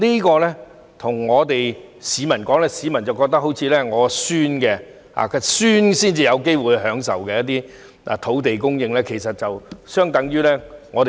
對於這些發展，市民或會認為要到孫子那一輩才有機會享用這些土地供應，政府說了等於白說。